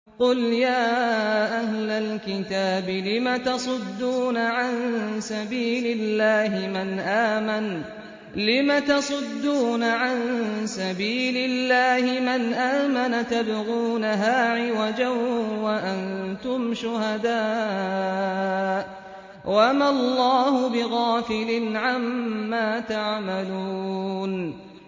قُلْ يَا أَهْلَ الْكِتَابِ لِمَ تَصُدُّونَ عَن سَبِيلِ اللَّهِ مَنْ آمَنَ تَبْغُونَهَا عِوَجًا وَأَنتُمْ شُهَدَاءُ ۗ وَمَا اللَّهُ بِغَافِلٍ عَمَّا تَعْمَلُونَ